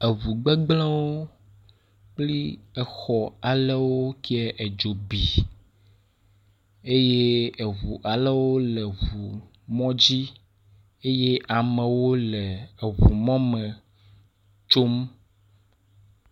Eʋugbegblẽwo kpli exɔ alewo kiɛ yɛ edzo bi eye ʋu alewo le eʋu mɔdzi eye amewo le eʋu mɔme tsom.